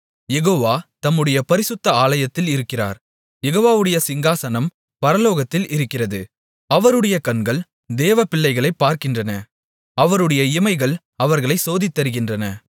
யெகோவா தம்முடைய பரிசுத்த ஆலயத்தில் இருக்கிறார் யெகோவாவுடைய சிங்காசனம் பரலோகத்தில் இருக்கிறது அவருடைய கண்கள் தேவப்பிள்ளைகளைப் பார்க்கின்றன அவருடைய இமைகள் அவர்களைச் சோதித்தறிகின்றன